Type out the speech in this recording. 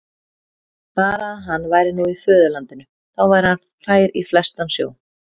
Bara að hann væri nú í föðurlandinu, þá væri hann fær í flestan sjó.